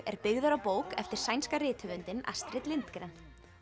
er byggður á bók eftir sænska rithöfundinn Astrid Lindgren